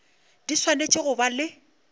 di swanetše go ba le